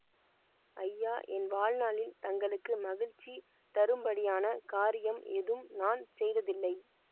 ஐயா என் வாழ்நாளில் தங்களுக்கு மகிழ்ச்சி தரும்படியான காரியம் எதும் நான் செய்ததில்லை